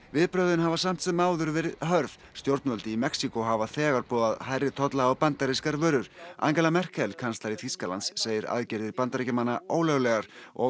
viðbrögðin hafa samt sem áður verið hörð stjórnvöld í Mexíkó hafa þegar boðað hærri tolla á bandarískar vörur Angela Merkel kanslari Þýskalands segir aðgerðir Bandaríkjamanna ólöglegar og